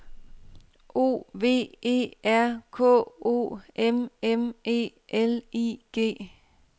O V E R K O M M E L I G